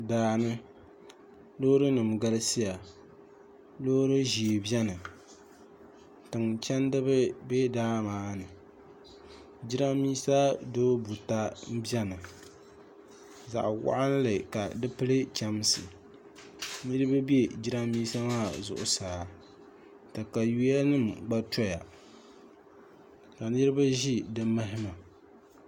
daani loorinima galisiya loori ʒee beni tiŋ chendi ba be daa maa ni jirambisa dubu buta beni zaɣ'wɔɣinlli ka di pili chɛmsi niriba be jirambisa maa zuɣusaa takayuyanima gba tɔya ka niriba ʒi di mahima